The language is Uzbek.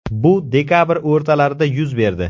Bu dekabr o‘rtalarida yuz berdi.